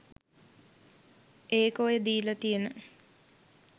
ඒක ඔය දීලා තියන